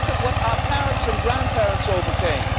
Look at what our parents and grandparents overcame.